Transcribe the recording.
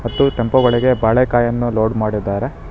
ಮತ್ತು ಟೆಂಪೋ ಒಳಗೆ ಬಾಳೆಕಾಯನ್ನು ಲೋಡ್ ಮಾಡಿದ್ದಾರೆ.